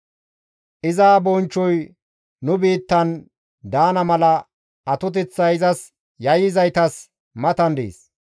Iza bonchchoy nu biittan daana mala atoteththay izas yayyizaytas matan dees.